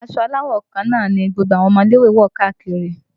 Ṣé aṣọ aláwọ̀ kan náà ni gbogbo ọmọ ilé ìwé ń wọ káàkiri?